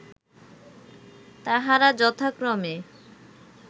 তাঁহারা যথাক্রমে